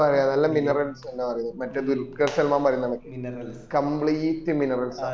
ആ നല്ല mineral മറ്റേ ദുല്കർസൽമാൻ പറയുന്ന പോല completemineral